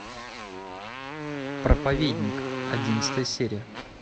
проповедник одиннадцатая серия